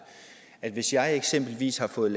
at hvis jeg eksempelvis har fået